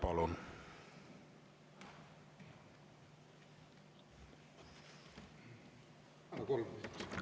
Palun!